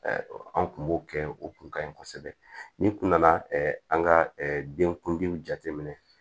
An kun b'o kɛ o kun ka ɲi kosɛbɛ ni kun nana an ka den kundiw jate minɛ